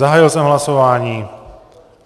Zahájil jsem hlasování.